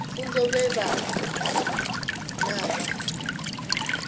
pfunzo vhe vha vha na